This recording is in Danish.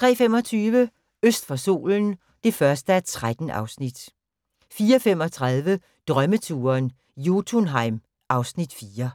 03:25: Øst for solen (1:13) 04:35: Drømmeturen - Jotunheimen (Afs. 4)